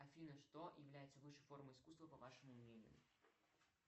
афина что является высшей формой искусства по вашему мнению